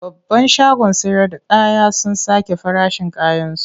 Babban shagon sayarda kaya sun sake farashin kayansu.